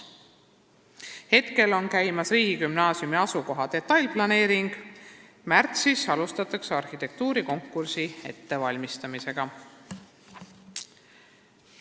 Praegu on käimas riigigümnaasiumi asukoha detailplaneering, märtsis alustatakse arhitektuurikonkursi ettevalmistamist.